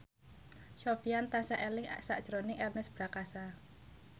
Sofyan tansah eling sakjroning Ernest Prakasa